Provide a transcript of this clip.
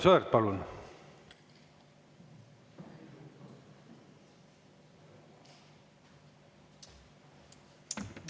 Aivar Sõerd, palun!